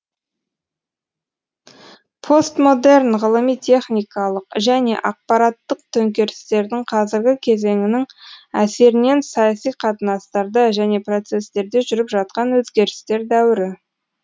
постмодерн ғылыми техникалық және ақпараттық төңкерістердің қазіргі кезеңінің әсерінен саяси қатынастарда және процестерде жүріп жатқан өзгерістер дәуірі